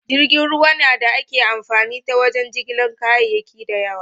Jirgin ruwa na da ake amfani ta wajen jigilar kayaki da yawa.